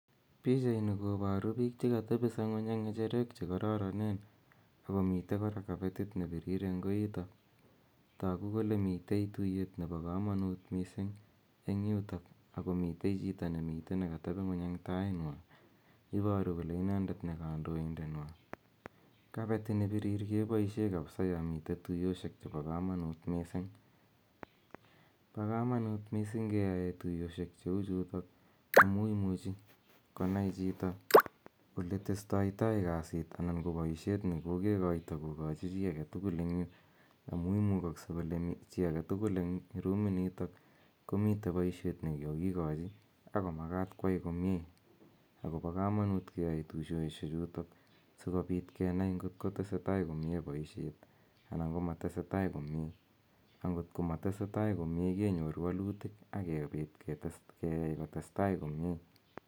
Pichaini koparu piik che katepisa ng'uny eng' ng'echerok che kararanen. Ako mitei kora kapetit ne pirir eng' koita. Tagu kole mitei tuiyet nepo kamanut missing' eng' yutok, ako mitei chito ne mitei ne katepi ng'uny eng' tai nywa. Iparu kole inendet ne kandoindet. Kapetit ne pirir kepaishe kapsa ya mitei tuiyoshek chepo kamanuut missing'. Pa kamanuut missing' keyae tuiyoshek che u chutok amu imuchi konai chito ole testaitai kasit anan ko paishet ne kokekoita ko kachi chi age tugul eng' yu, amu imukakse kole chi age tugul eng' ruminitok komitei poishet ne kakikochi ako makat koai komye , ako pa kamanut keyae tuyoshechutok si kopit kenai ngot ko tesetai komye poishet anan ko ma tesetai komye. Angot ko matese tai komye, kenyor walutik akopit keyai kotestai komye.